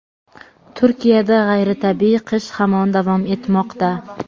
Turkiyada g‘ayritabiiy qish hamon davom etmoqda.